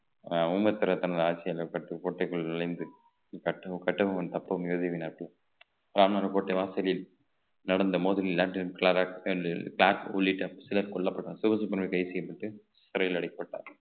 ஊமத்திரர் தனது ஆட்சி அந்த பட்டு கோட்டைக்குள் நுழைந்து கட்ட~ கட்டபொம்மன் தப்பம் இறுதி வினாட்டி ராமர் கோட்டை வாசலில் நடந்த மோதலில் உள்ளிட்ட சிலர் கொல்லப்பட்டனர் சொகுசு சிறையில் அடைக்கப்பட்டார்